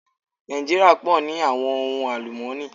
Nàìjíríà pọ̀ ní àwọn ohun àlùmọ́nì.